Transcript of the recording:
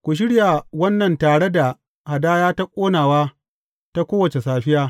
Ku shirya wannan tare da hadaya ta ƙonawa ta kowace safiya.